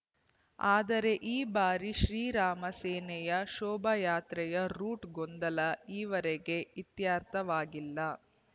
ಆದರೆ ಈ ಬಾರಿ ಶ್ರೀರಾಮ ಸೇನೆಯ ಶೋಭಾಯಾತ್ರೆಯ ರೂಟ್‌ ಗೊಂದಲ ಈವರೆಗೆ ಇತ್ಯರ್ಥವಾಗಿಲ್ಲ